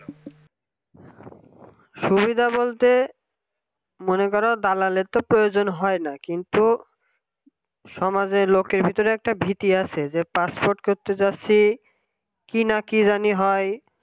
সুবিধা বলতে মনে কর দালালে তো প্রয়োজন হয় না কিন্তু সমাজের লোকের ভেতরে একটা ভীতি আছে যে Passport করতে যাচ্ছি কিনা কি জানি হয়